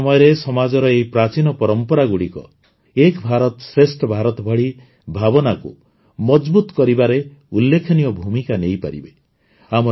ଆଜିର ସମୟରେ ସମାଜର ଏହି ପ୍ରାଚୀନ ପରମ୍ପରାଗୁଡ଼ିକ ଏକ୍ ଭାରତ ଶ୍ରେଷ୍ଠ ଭାରତ ଭଳି ଭାବନାକୁ ମଜଭୁତ କରିବାରେ ଉଲ୍ଲେଖନୀୟ ଭୂମିକା ନେଇପାରିବେ